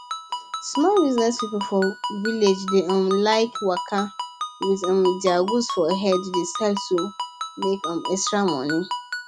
small business people for village dey um like waka wit um their goods for head dey sell to make um extra money